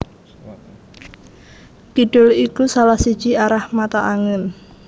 Kidul iku salah siji arah mata angin